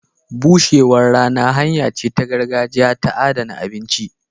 Bushewar rana hanya ce ta gargajiya ta adana abinci.